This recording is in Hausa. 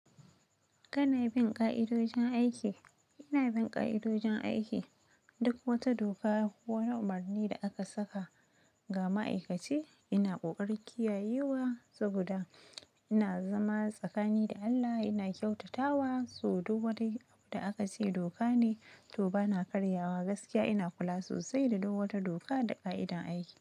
Kanai bin ƙa'idojin aiki? Ina bin ƙa'idojin aiki, duk wata doka ko wani umarni da aka saka ga ma'aikaci ina ƙoƙarin kiyayewa saboda ina zama tsakani da Allah, ina kyautatawa, so du wata hi da aka ce doka ne to bana karyawa gaskiya ina kula sosai da du wata doka da ƙa'idan aiki.